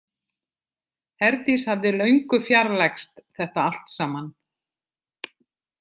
Herdís hafði löngu fjarlægst þetta allt saman.